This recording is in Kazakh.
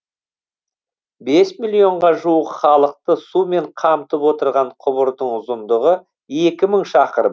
бес миллионға жуық халықты сумен қамтып отырған құбырдың ұзындығы екі мың шақырым